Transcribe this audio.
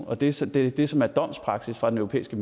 og det som det som er domspraksis fra den europæiske